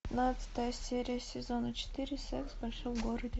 пятнадцатая серия сезона четыре секс в большом городе